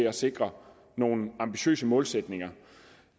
at sikre nogle ambitiøse målsætninger